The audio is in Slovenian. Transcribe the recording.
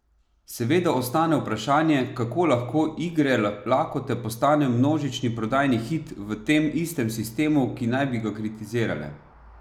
Seveda ostane vprašanje, kako lahko Igre lakote postanejo množični prodajni hit v tem istem sistemu, ki naj bi ga kritizirale?